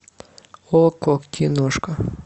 окко киношка